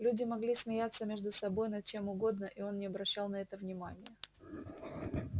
люди могли смеяться между собой над чем угодно и он не обращал на это внимания